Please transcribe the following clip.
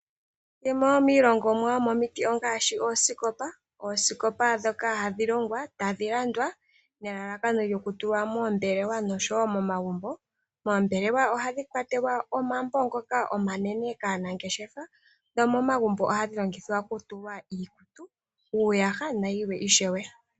Yimwe yomilongomwa yomomiti ngaashi oosikopa. Oosikopa ndhoka hadhi longwa, tadhi landwa nelalakano lyokulwa moombelewa nosho wo momagumbo. Moombelewa ohadhi kwatelwa omambo ngoka omanene kaanangeshefa nomomagumbo ohadhi longithwa okutulwa, iikutu, uuyaha nayilwe ishewe.